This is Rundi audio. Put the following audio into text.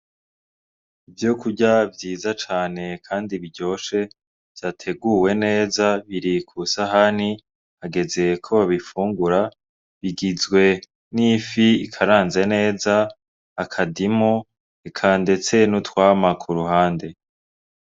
Ivyokurya vyiza cane kandi biryoshe vyateguwe neza biri kw'isahani hageze ko babifungura , bigizwe n'ifi ikaranze neza , akadimu, eka ndetse n'utwamwa k'uruhande.